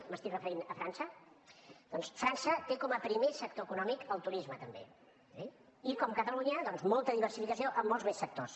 m’estic referint a frança doncs frança té com a primer sector econòmic el turisme també i com catalunya molta diversificació en molts més sectors